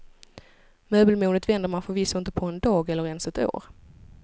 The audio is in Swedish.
Möbelmodet vänder man förvisso inte på en dag, eller ens ett år.